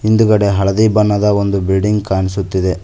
ಹಿಂದುಗಡೆ ಹಳದಿ ಬಣ್ಣದ ಒಂದು ಬಿಲ್ಡಿಂಗ್ ಕಾಣಿಸುತ್ತಿದೆ.